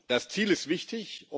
Das Ziel ist wichtig.